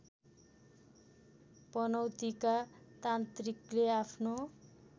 पनौतीका तान्त्रिकले आफ्नो